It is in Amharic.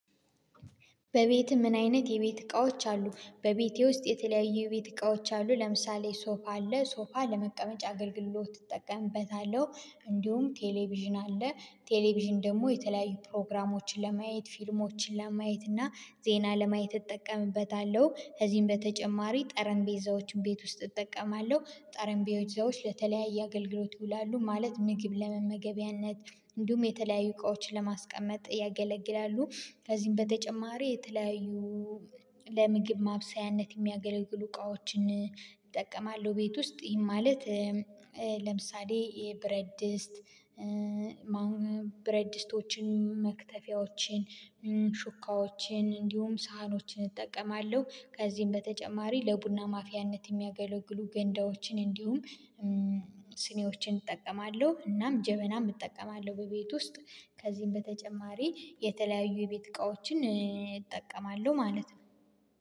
በቤት ምን አይነት የቤት እቃዎች አሉ በቤቴ ውስጥ የተለያዩ የቤት እቃዎች አሉ ለምሳሌ ሶፋ አለ ሶፋ ለመቀመጫ አገልግሎት ትጠቀምበታለሁ። እንዲሁም ቴሌቪዥን አለ ቴሌቪዥን ደግሞ የተለያዩ ፕሮግራሞችን ለማየት ፊልሞችን ለማየት እና ዜና ለማየት እጠቀምበታለሁ። ከዚህም በተጨማሪ ጠረንጴዛዎችን ቤት ውስጥ እጠቀማለሁ ጠረንጴዛዎች ለተለያየ አገልግሎት ይውላሉ ማለት ምግብ ለመመገቢያነት እንዲሁም የተለያዩ እቃዎችን ለማስቀመጥ ያገለግላሉ። ከዚህም በተጨማሪ የተለያዩ ለምግብ ማብሰያነት የሚያገለግሉ እቃዎችን እጠቀማለሁ። ቤት ውስጥ ይሄ ማለት ለምሳሌ የብረት ድስት አሁን ብረት ድስቶችን መክተፊያዎችን ሹካዎችን እንዲሁም ሳህኖችን እጠቀማለሁ። ከዚህም በተጨማሪ ለቡና ማፊያነት የሚያገለግሉ ገንዳዎችን እንዲሁም ስኒዎችን እጠቀማለሁ እናም ጀበናም እጠቀማለሁ። በቤት ውስጥ ከዚህም በተጨማሪ የተለያዩ የቤት እቃዎችን እጠቀማለሁ ማለት ነው።